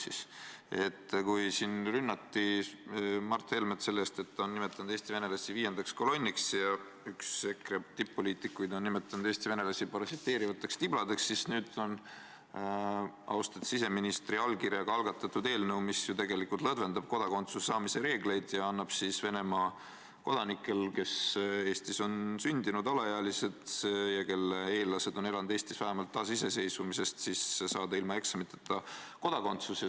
Nimelt, kui siin rünnati Mart Helmet selle eest, et ta on nimetanud Eesti venelasi viiendaks kolonniks, ja üks EKRE tipp-poliitikuid on nimetanud Eesti venelasi parasiteerivateks tibladeks, siis nüüd on austatud siseministri allkirjaga algatatud eelnõu, mis ju tegelikult lõdvendab kodakondsuse saamise reegleid ja annab võimaluse Venemaa kodanikele, kes on Eestis sündinud, kes on alaealised ja kelle eellased on elanud Eestis vähemalt taasiseseisvumisest alates, saada ilma eksamiteta kodakondsus.